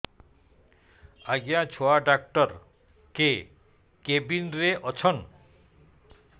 ଆଜ୍ଞା ଛୁଆ ଡାକ୍ତର କେ କେବିନ୍ ରେ ଅଛନ୍